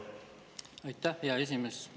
Aitäh, hea esimees!